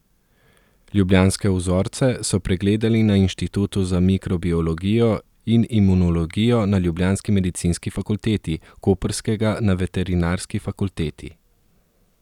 Ljubljanske vzorce so pregledali na Inštitutu za mikrobiologijo in imunologijo na ljubljanski medicinski fakulteti, koprskega na veterinarski fakulteti.